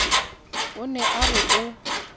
o ne a re o